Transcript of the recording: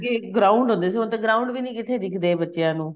ਅੱਗੇ ground ਹੁੰਦੇ ਸੀ ਹੁਣ ਤਾਂ ground ਵੀ ਨੀਂ ਕਿੱਥੇ ਦਿੱਖਦੇ ਬੱਚਿਆਂ ਨੂੰ